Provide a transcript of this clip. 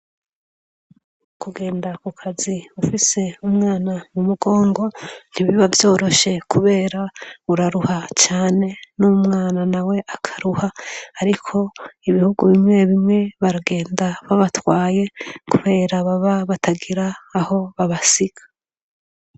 Kugenda ku kazi ufise umwana mumugongo ntibiba vyoroshe kubera uraruha cane n'umwana na we akaruha ariko ibihugu bimwe bimwe baragenda babatwaye kubera baba batagira aho babasiga.